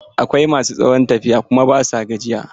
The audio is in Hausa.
Akwai ma su tsawon tafiya kuma ba su gajiya.